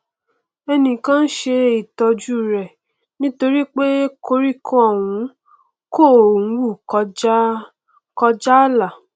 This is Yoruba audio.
ẹnìkan n ṣe ìtọjú rẹ nítorípé koríko ọhún kò hù kọjá kọjá ààlà